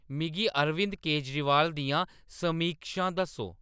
मिगी अरविंद केजरीवाल दियां समीक्षां दस्सो